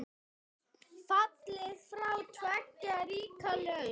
Fallið frá tveggja ríkja lausn?